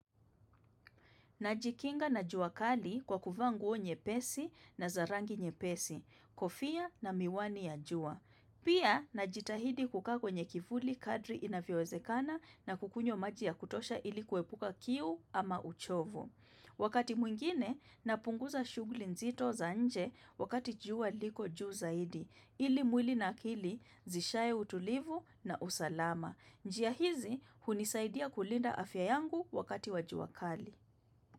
Najikinga na jua kali kwa kuvaa nguo nyepesi na za rangi nyepesi, kofia na miwani ya jua. Pia, najitahidi kukaa kwenye kivuli kadri inavyowezekana na kukunywa maji ya kutosha ili kuepuka kiu ama uchovu. Wakati mwingine, napunguza shughli nzito za nje wakati jua liko juu zaidi, ili mwili na akili zishaye utulivu na usalama. Njia hizi, hunisaidia kulinda afya yangu wakati wa jua kali.